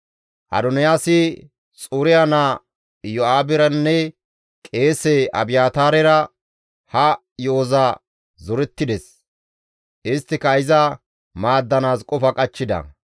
Adoniyaasi Xuriya naa Iyo7aaberanne qeese Abiyaataarera ha yo7oza zorettides; isttika iza maaddanaas qofa qachchida.